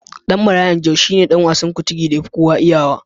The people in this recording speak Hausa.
Ɗan Marayan Jos shine ɗan wasan Kuntigi da yafi kowa iyawa.